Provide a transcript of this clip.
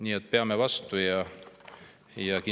Nii et peame vastu!